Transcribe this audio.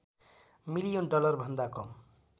million डलरभन्दा कम